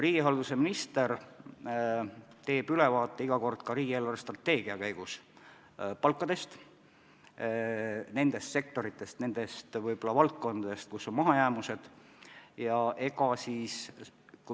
Riigihalduse minister teeb iga kord ka riigi eelarvestrateegia arutelu käigus ülevaate palkadest, rääkides ka nendest sektoritest, nendest valdkondadest, kus on mahajäämused.